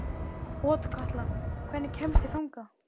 Otkatla, hvernig kemst ég þangað?